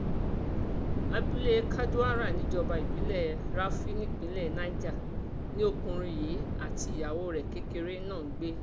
abúlé kadaura níjọba ìbílẹ̀ rafi nípínlẹ̀ niger ni ọkùnrin yìí àti ìyàwó rẹ̀ kékeré náà ń gbé